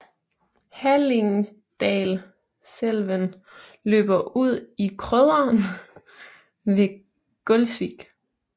Hallingdalselven løber ude i Krøderen ved Gulsvik